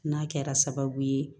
N'a kɛra sababu ye